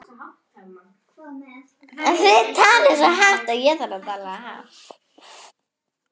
Alda er úr öðrum heimi.